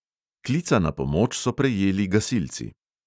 Klica na pomoč so prejeli gasilci.